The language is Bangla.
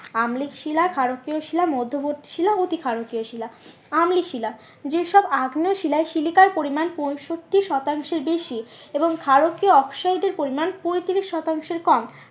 আম্লিক শিলা ক্ষারকীয় শিলা মধ্যবর্তী শিলা এটি ক্ষারকীয় শিলা। অম্লিক শিলা যে সব আগ্নেয় শিলায় সিলিকার পরিমান পঁয়ষট্টি শতাংশ এর বেশি এবং ক্ষারকীয় অক্সাইড এর পরিমান পঁয়ত্রিশ শতাংশের কম